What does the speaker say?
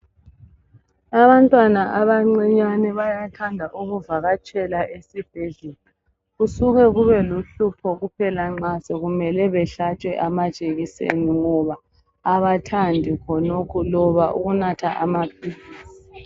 Abantwana abancinyane bayathanda ukuvakatshela esibhedlela kusuke kube luhlupho kuphela nxa sekumele behlatshwe amajekiseni ngoba abathandi khonokhu loba ukunatha amaphilisi